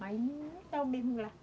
Mas não está o mesmo lá.